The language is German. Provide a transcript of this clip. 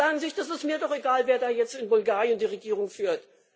Die sagen sich Das ist mir doch egal, wer da jetzt in Bulgarien die Regierung führt.